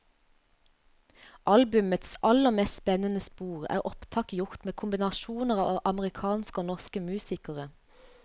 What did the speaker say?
Albumets aller mest spennende spor er opptak gjort med kombinasjoner av amerikanske og norske musikere.